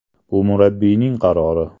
Bu murabbiyning qarori.